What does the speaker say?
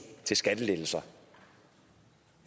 til skattelettelser